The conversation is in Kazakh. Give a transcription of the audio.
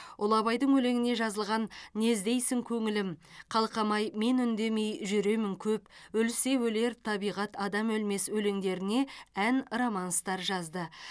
ұлы абайдың өлеңіне жазылған не іздейсің көңілім қалқам ай мен үндемей жүремін көп өлсе өлер табиғат адам өлмес өлеңдеріне ән романстар жазды